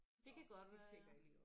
Det kan godt være